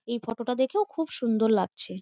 এই ফটোটা দেখেও খুব সুন্দর লাগছে।